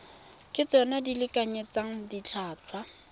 ke tsona di lekanyetsang ditlhotlhwa